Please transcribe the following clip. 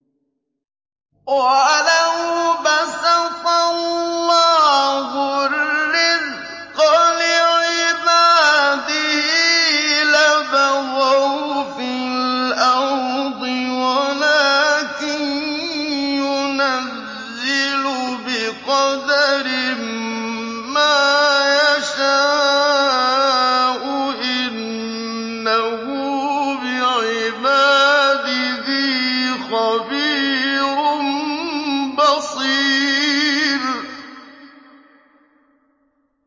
۞ وَلَوْ بَسَطَ اللَّهُ الرِّزْقَ لِعِبَادِهِ لَبَغَوْا فِي الْأَرْضِ وَلَٰكِن يُنَزِّلُ بِقَدَرٍ مَّا يَشَاءُ ۚ إِنَّهُ بِعِبَادِهِ خَبِيرٌ بَصِيرٌ